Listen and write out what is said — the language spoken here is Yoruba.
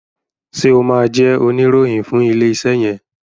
ṣe o má jé Oníròhìn fún ilé iṣé yen?